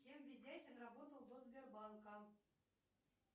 кем видяхин работал до сбербанка